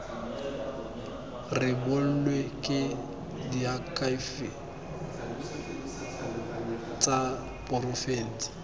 rebolwe ke diakhaefe tsa porofense